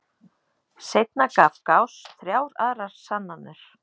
Seinna gaf Gauss þrjár aðrar sannanir.